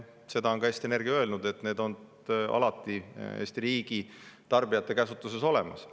Seda on ka Eesti Energia öelnud, et need on alati Eesti riigi tarbijate käsutuses olemas.